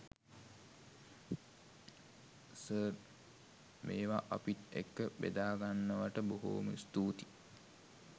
sir මේවා අපිත් එක්ක බෙදාගන්නවට බොහොම ස්තූතියි